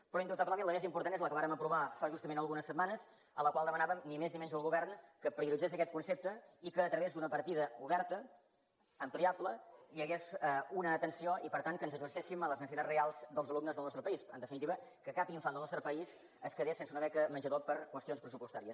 però indubtablement la més important és la que vàrem aprovar fa justament algunes setmanes en la qual demanàvem ni més ni menys al govern que prioritzés aquest concepte i que a través d’una partida oberta ampliable hi hagués una atenció i per tant que ens ajustéssim a les necessitats reals dels alumnes del nostre país en definitiva que cap infant del nostre país es quedés sense una beca menjador per qüestions pressupostàries